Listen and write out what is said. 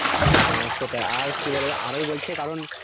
হ্যা সেটা আর কি বলে যে আরো বলছে কারণ,